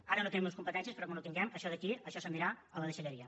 ara no tenim les competències però quan ho canviem això d’aquí això se n’anirà a la deixalleria